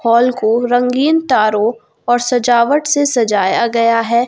Hall को रंगीन तारों और सजावट से सजाया गया है।